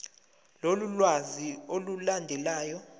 lolu lwazi olulandelayo